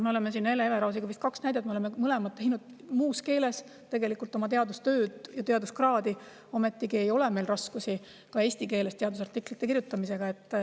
Me oleme siin Hele Everausiga vist kaks näidet: me oleme mõlemad teinud muus keeles teadustööd ja teaduskraadi, ometigi ei ole meil raskusi ka eesti keeles teadusartiklite kirjutamisega.